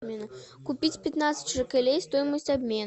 купить пятнадцать шекелей стоимость обмена